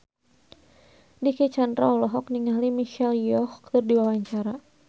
Dicky Chandra olohok ningali Michelle Yeoh keur diwawancara